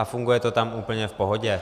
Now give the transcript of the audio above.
A funguje to tam úplně v pohodě.